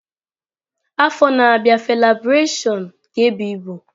Afọ na-abịa Felabration ga-ebụ ibu.